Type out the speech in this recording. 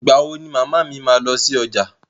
Ìgbà wo ni màmá mi máa lọ sí ọjà?